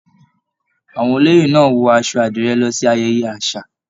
Àwọn olóyè náà wọ aṣọ àdirẹ lọ sí ayẹyẹ àṣà.